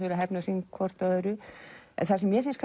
eru að hefna sín hvort á öðru en það sem mér finnst